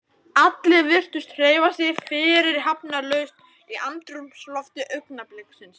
Allir virtust hreyfa sig fyrirhafnarlaust í andrúmslofti augnabliksins.